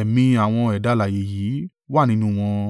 ẹ̀mí àwọn ẹ̀dá alààyè yìí wà nínú wọn.